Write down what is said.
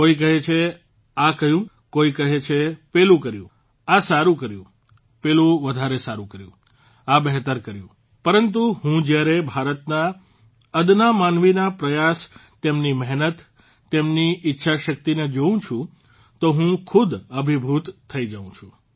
કોઇ કહે છે આ કહ્યું કોઇ કહે છે પેલું કર્યું આ સારૂં કર્યું પેલું વધારે સારૂં કર્યું આ બહેતર કર્યું પરંતુ હું જયારે ભારતના અદના માનવીના પ્રયાસ તેમની મહેનત તેમની ઇચ્છાશક્તિને જોઉં છું તો હું ખુદ અભિભૂત થઇ જાઉં છું